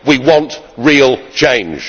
We want real change.